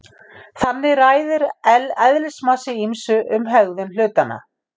Þannig ræður eðlismassi ýmsu um hegðun hlutanna.